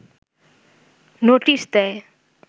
notice দেয়